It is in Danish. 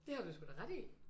Det har du sgu da ret i!